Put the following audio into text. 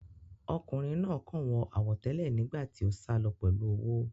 Ọkùnrin náà kàn wọ àwọ̀ tẹ́lẹ̀ nígbà tí ó sálọ pẹ̀lú owó